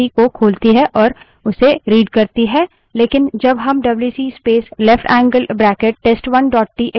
लेकिन जब हम WC space left angle bracket space test1 dot TXT wc space leftangled bracket test1 txt लिखते हैं डब्ल्यूसी तब भी किसी file को नहीं खोलता है